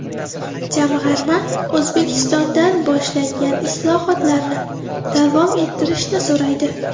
Jamg‘arma O‘zbekistondan boshlangan islohotlarni davom ettirishni so‘raydi.